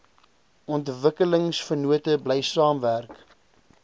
ontwikkelingsvennote bly saamwerk